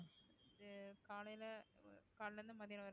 வந்து காலையில காலையில இருந்து மத்தியானம் வரைக்கும்